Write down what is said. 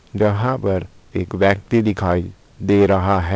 जहां पर एक व्यक्ति दिखाई दे रहा है।